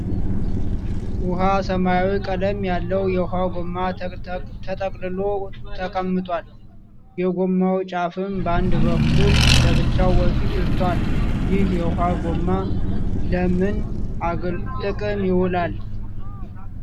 ዉሃ ሰማያዊ ቀለም ያለው የዉሃ ጎማ ተጠቅልሎ ተቀምጧል። የጎማው ጫፍም በአንድ በኩል ለብቻው ወጥቷል። ይህ የዉሃ ጎማ ለምን ጥቅም ይዉላል?